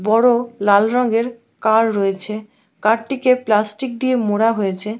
বড়ো লাল রঙের কার রয়েছে কার টিকে প্লাস্টিকে এ মোড়া ঽয়েছে ।